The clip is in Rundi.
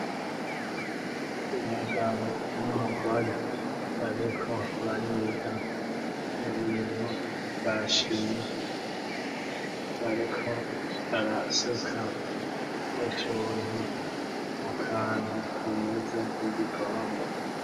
Umugabo n'umugore bariko bariga ibintu vya shimi, bariko barasuka utuntu mu kantu kameze nk'igikombe.